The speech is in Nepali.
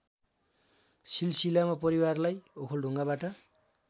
सिलसिलामा परिवारलाई ओखलढुङ्गाबाट